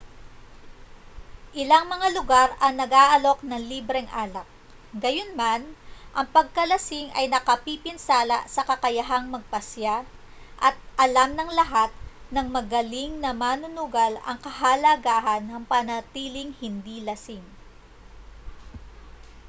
ilang mga lugar ang nag-aalok ng libreng alak gayunman ang pagkalasing ay nakapipinsala sa kakayahang magpasiya at alam ng lahat ng magaling na manunugal ang kahalagahan ng pananatiling hindi lasing